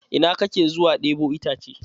Ina kake zuwa ɗebo itace?